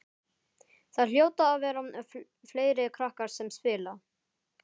Það hljóta að vera fleiri krakkar sem spila.